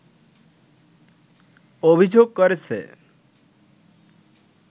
অভিযোগ করেছে